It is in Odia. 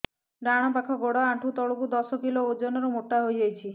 ଡାହାଣ ପାଖ ଗୋଡ଼ ଆଣ୍ଠୁ ତଳକୁ ଦଶ କିଲ ଓଜନ ର ମୋଟା ହେଇଯାଇଛି